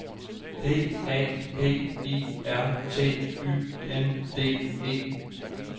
P A P I R T Y N D E